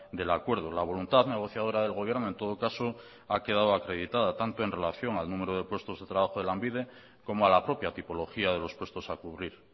del acuerdo la voluntad negociadora del gobierno en todo caso ha quedado acreditada tanto en relación al número de puestos de trabajo de lanbide como a la propia tipología de los puestos a cubrir